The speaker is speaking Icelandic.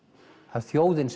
þjóðin